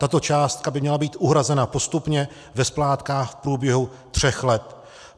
Tato částka by měla být uhrazena postupně ve splátkách v průběhu tří let.